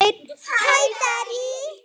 HÆ PABBI!